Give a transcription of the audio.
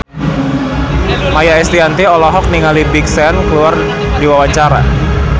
Maia Estianty olohok ningali Big Sean keur diwawancara